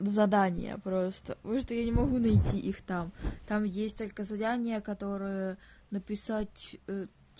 в задания просто потому что я не могу найти их там там есть только задания которые написать